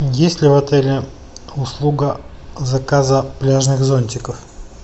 есть ли в отеле услуга заказа пляжных зонтиков